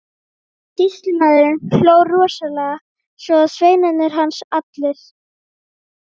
Sýslumaður hló rosalega, svo og sveinar hans allir.